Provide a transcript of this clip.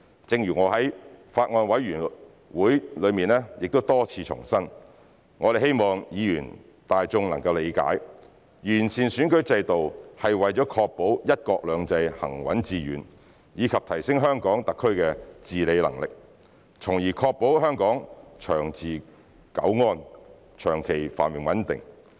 正如我在法案委員會多次重申，我們希望議員、大眾理解，完善選舉制度是為了確保"一國兩制"行穩致遠，以及提升香港特區的治理能力，從而確保香港長治久安，長期繁榮穩定。